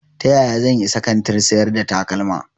Ta yaya zan isa kantin sayar da takalma?